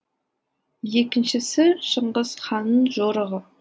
екіншісі шыңғыс ханның жорығы